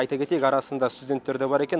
айта кетейік арасында студенттер де бар екен